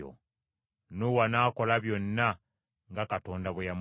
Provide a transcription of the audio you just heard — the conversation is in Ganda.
Nuuwa n’akola byonna nga Katonda bwe yamulagira.